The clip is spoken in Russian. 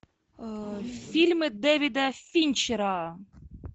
фильмы дэвида финчера